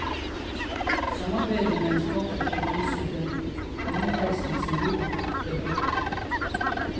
Samarbeidet med en sponsor, som ønsket en undertekst til sin logo, ble brutt.